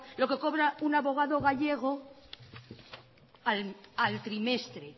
lo que cobra un abogado gallego al trimestre